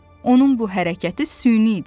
Onun bu hərəkəti süni idi.